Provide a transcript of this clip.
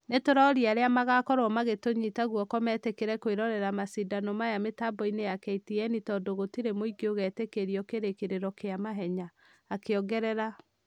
" Ni tũroria arĩa magakorwo magĩtũnyita gũoko metekere kũirorera mashidano maya mitaboinĩ ya ktn tũndũ gũtire mũingi ũgetekerio kĩrĩkĩrĩro gia mahenya " akiongerera